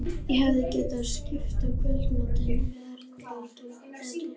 Ég hefði getað skipt á kvöldvaktinni við Erlu eða Tótu.